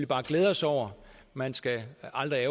bare glæde os over man skal aldrig